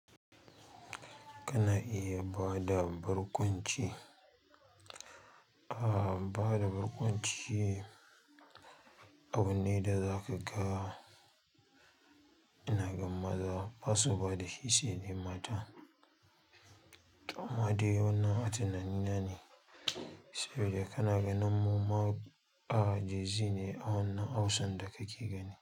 Kana iya bada barkwanci. A bada barkwanci, abun ne da zaka ga. Ina gan maza ba su bada shi sai dai mata. Amma dai wannan a tunanina ne saboda kana ganin mumma, a jenzi ne a wannan Hausan da kake gani.